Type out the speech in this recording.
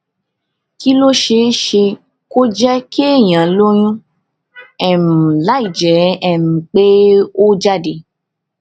kí ló ṣeé ṣe kó jé kéèyàn lóyún um láìjé um pé ó um jáde